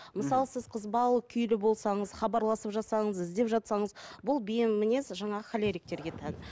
мысалы сіз қызбалы күйлі болсаңыз хабарласып жатсаңыз іздеп жатсаңыз бұл бейім мінез жаңағы холериктерге тән